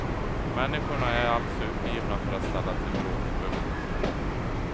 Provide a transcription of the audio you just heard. Människorna är alltför uppgivna för att ställa till bråk. punkt